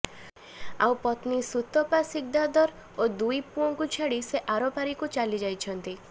ଆଉ ପତ୍ନୀ ସୁତପା ସିକ୍ଦାର ଓ ଦୁଇ ପୁଅଙ୍କୁ ଛାଡ଼ି ସେ ଆରପାରିକୁ ଚାଲି ଯାଇଛନ୍ତି